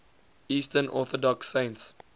eastern orthodox saints